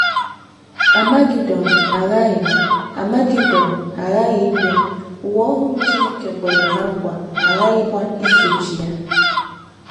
Amagedọn aghaghị Amagedọn aghaghị ịbịa, ụwa ọhụrụ Chineke kwere ná nkwa aghaghịkwa isochi ya.